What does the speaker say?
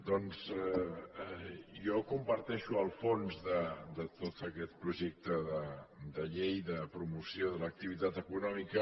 doncs jo comparteixo el fons de tot aquest projecte de llei de promoció de l’activitat econòmica